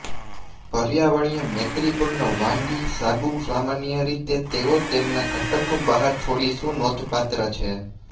પર્યાવરણીય મૈત્રીપૂર્ણ વાનગી સાબુ સામાન્ય રીતે તેઓ તેમના ઘટકો બહાર છોડી શું નોંધપાત્ર છે